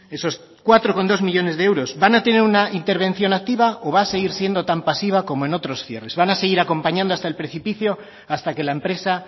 esos cuatro coma dos millónes de euros van a tener una intervención activa o va a seguir siendo tan pasiva como en otros cierres van a seguir acompañando hasta el precipicio hasta que la empresa